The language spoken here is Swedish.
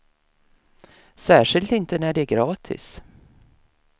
Särskilt inte när det är gratis.